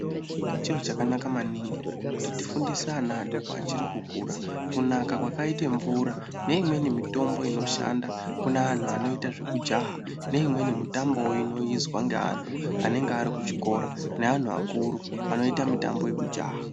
Chiro chakanaka maningi kuti tifundise ana adoko achiri kukura kunaka kwakaita mvura neimweni mitombo inoshanda kune anthu anoita zvekujaha neimweni mitambo inoizwa neanhu anenge ari kuchikora neanhu akuru anoita mitambo yekujaha.